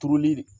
Turuli